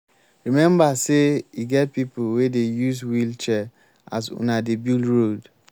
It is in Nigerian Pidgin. rememba sey e get pipo wey dey use wheel-chair as una dey build road.